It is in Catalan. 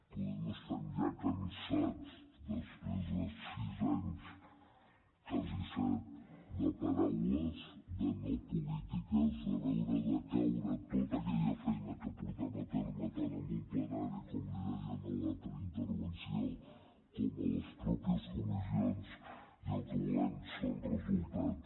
poder estem ja cansats després de sis anys quasi set de paraules de no polítiques de veure decaure tota aquella feina que portem a terme tant en un plenari com li deia en l’altra intervenció com a les mateixes comissions i el que volem són resultats